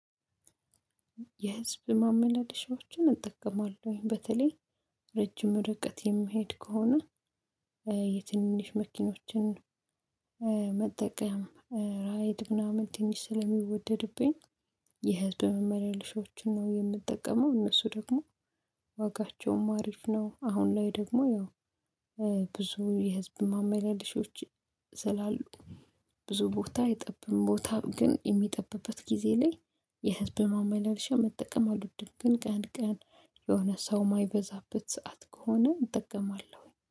የህዝብ ማመናደሻዎችን እጠቀማለሁኝ በተለይ ረጅም ርቀት የማይሄድ ከሆነ የትንሽ መኪኖችን መጠቀም ራይድ ምናምን ትንሽ ስለሚወደድብኝ የህትመት መረሻዎችን ነው የምጠቀመው። እነሱ ደግሞ አሪፍ ነው። አሁን ላይ ደግሞ ያው ብዙ የህዝብ ማመለልሺዎች ዘላሉ ብዙ ቦታ የጠበም ቦታ ግን የሚጠብበት ጊዜ ላይ የህብ ማማይ መጠቀም አልወድም። ግን ቀን ቀን የሆነ ሰው የማይበዛበት ሰዓት ከሆነ እጠቀማለሁኝ